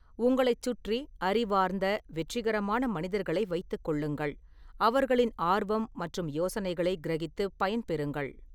உங்களைச் சுற்றி அறிவார்ந்த, வெற்றிகரமான மனிதர்களை வைத்துக் கொள்ளுங்கள், அவர்களின் ஆர்வம் மற்றும் யோசனைகளை கிரகித்துப் பயன்பெறுங்கள்.